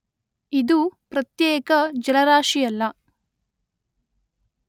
ಇದು ಪ್ರತ್ಯೇಕ ಜಲರಾಶಿಯಲ್ಲ.